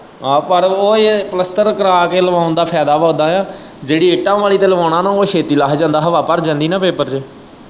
ਆਹੋ ਪਰ ਓਵੇਂ ਹੀ ਏ ਪਲੱਸਤਰ ਕਰਾ ਕੇ ਲਗਾਉਣ ਦਾ ਫਾਇਦਾ ਵਾ ਉੱਦਾ ਜਿਹੜੀ ਇੱਟਾਂ ਵਾਲ਼ੀ ਤੇ ਲਵਾਉਣਾ ਨਾ ਉਹ ਛੇਤੀ ਲੱਥ ਜਾਂਦਾ ਹਵਾ ਭਰ ਜਾਂਦੀ ਨਾ ਪੇਪਰ ਚ।